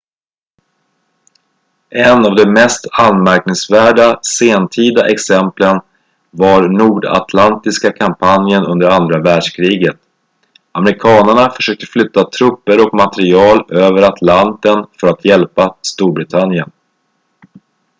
en av de mest anmärkningsvärda sentida exemplen var nordatlantiska kampanjen under andra världskriget amerikanerna försökte flytta trupper och material över atlanten för att hjälpa storbritannien